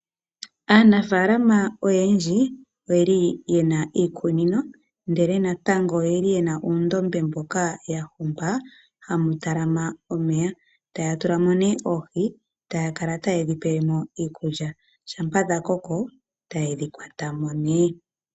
Aanafala oyendji oyeli yena iikunino ndele natango, oyeli yena uundombe mboka yahonga hamu talama omeya. Taya tulamo ne oohi, taya kala tayedhi pelemo iikulya. Shampa dhakoko tayedhi kwatamo ne.